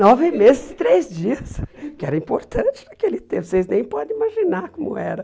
Nove meses e três dias, que era importante naquele tempo, vocês nem podem imaginar como era.